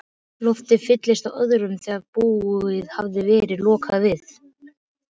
Loftið fylltist af orðum, þegar búðum hafði verið lokað við